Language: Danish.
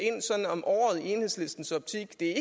ind om året i enhedslistens optik det er